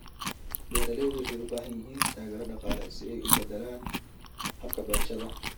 Beeraleydu waxay u baahan yihiin taageero dhaqaale si ay u beddelaan habka beerashada.